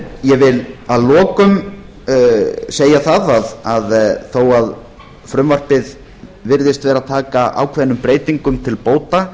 ég vil að lokum segja það að þó að frumvarpið virðist vera að taka ákveðnum breytingum til bóta